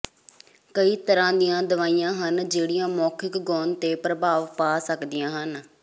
ਕਈ ਤਰ੍ਹਾਂ ਦੀਆਂ ਦਵਾਈਆਂ ਹਨ ਜਿਹੜੀਆਂ ਮੌਖਿਕ ਗੌਣ ਤੇ ਪ੍ਰਭਾਵ ਪਾ ਸਕਦੀਆਂ ਹਨ